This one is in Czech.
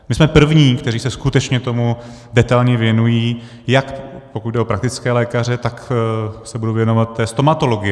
My jsme první, kteří se skutečně tomu detailně věnují, jak pokud jde o praktické lékaře, tak se budu věnovat té stomatologii.